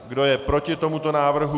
Kdo je proti tomuto návrhu?